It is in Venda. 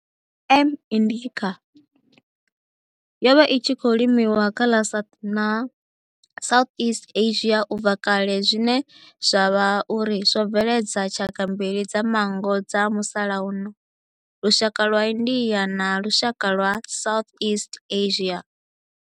M. indica yo vha i tshi khou limiwa kha ḽa South na Southeast Asia ubva kale zwine zwa vha uri zwo bveledza tshaka mbili dza manngo dza musalauno lushaka lwa India na lushaka lwa Southeast Asia.